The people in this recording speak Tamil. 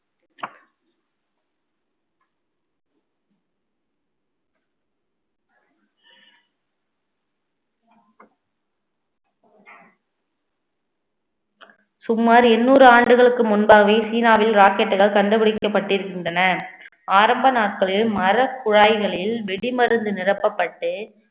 சுமார் எண்ணூறு ஆண்டுகளுக்கு முன்பாகவே சீனாவில் rocket கள் கண்டுபிடிக்கப்பட்டிருக்கின்றன ஆரம்ப நாட்களில் மரக்குழாய்களில் வெடிமருந்து நிரப்பப்பட்டு